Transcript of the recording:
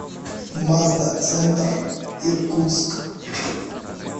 мазда центр иркутск